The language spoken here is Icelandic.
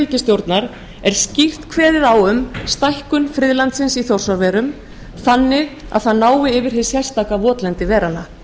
ríkisstjórnar er skýrt kveðið á um stækkun friðlandsins í þjórsárverum þannig að það nái yfir hið sérstaka votlendi veranna